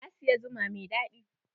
Na siyi zuma mai daɗi.